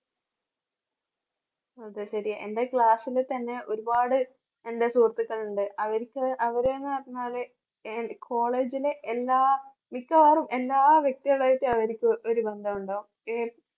അത് ശരിയാ. എൻറെ class ല് തന്നെ ഒരുപാട് എന്റെ സുഹൃത്തുക്കളുണ്ട് അവര്ക്ക് അവര് എന്ന് പറഞ്ഞാല് college ലെ എല്ലാ മിക്കവാറും എല്ലാ വ്യക്തികളായിട്ട് അവര്ക്ക്